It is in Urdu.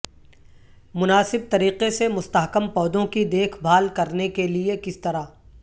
مناسب طریقے سے مستحکم پودوں کی دیکھ بھال کرنے کے لئے کس طرح